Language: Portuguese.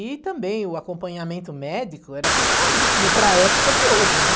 E também o acompanhamento médico era precaríssimo para a época de hoje, né?